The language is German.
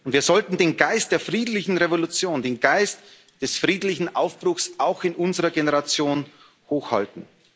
Wir sollten den Geist der friedlichen Revolution, den Geist des friedlichen Aufbruchs auch in unserer Generation hochhalten.